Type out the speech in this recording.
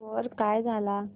score काय झाला